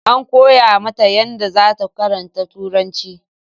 An koya mata yadda zata karanta turanci